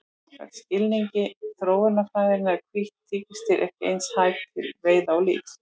Samkvæmt skilningi þróunarfræðinnar eru hvít tígrisdýr ekki eins hæf til veiða og lífs.